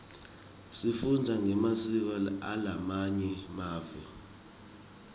sifundza ngemasiko alamanye mave